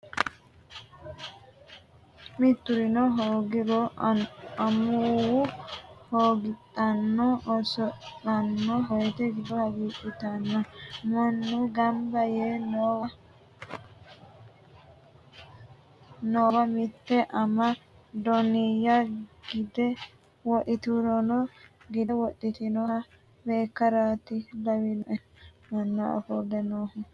Miturino hoogiro amuwu hagiidhano oso'lano woyte giddo hagiidhittano, mannu gamba yee noowa mite ama doniya gide wodhinannihura gide wortinoha beekkarati lawinoe manna ofolle noohura.